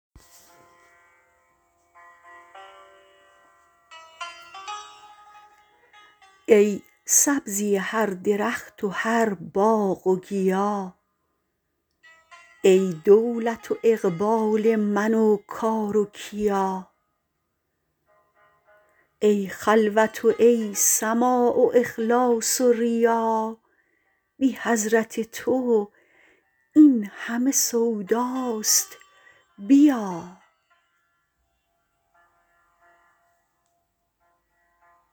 ای سبزی هر درخت و هر باغ و گیا ای دولت و اقبال من و کار و کیا ای خلوت و ای سماع و اخلاص و ریا بی حضرت تو این همه سوداست بیا